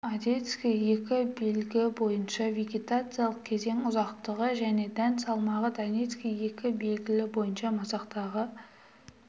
одесский екі белгі бойынша вегетациялық кезең ұзақтығы және дән салмағы донецкий екі белгі бойынша масақтағы